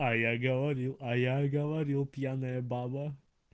а я говорил а я говорил пьяная баба